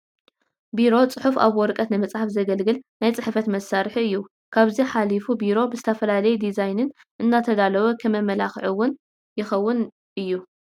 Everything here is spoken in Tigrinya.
ቢሮ ፅሑፍ ኣብ ወረቐት ንምፅሓፍ ዘገልግል ናይ ፅሕፈት መሳርሒ እዩ፡፡ ካብዚ ሓሊፉ ቢሮ ብዝተፈላለየ ዲዛይንን እንዳተዳለወ ከም መመላክዒ እውን ይኸውን እዩ፡፡